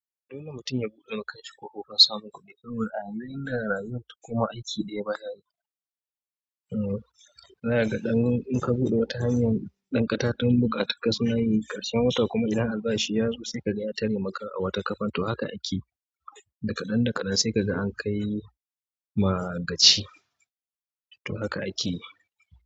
Dole mutum ya buɗe ma kan shi kofofin samun kuɗi, saboda a yanzu inda rayuwar takoma aiki ɗaya ba ya yi. Zaka ga ɗan in ka buɗe wata hanyan, ɗan katatun bukata suna yin ƙarshen wata kuma idan albashi syazo sai kaga ya tare maka wata wata ƙafan. To haka ake da kaɗan da kaɗan sai ka ga an kai ma gaci. To haka aiki ne.